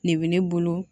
Ne bɛ ne bolo